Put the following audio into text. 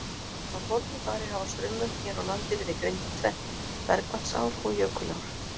Frá fornu fari hafa straumvötn hér á landi verið greind í tvennt, bergvatnsár og jökulár.